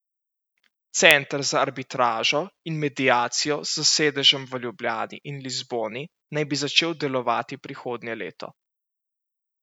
Center za arbitražo in mediacijo s sedežem v Ljubljani in Lizboni naj bi začel delovati prihodnje leto.